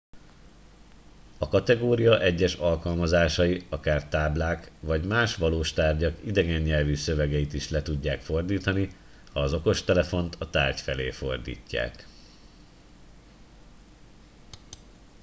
a kategória egyes alkalmazásai akár táblák vagy más valós tárgyak idegen nyelvű szövegeit is le tudják fordítani ha az okostelefont a tárgy felé fordítják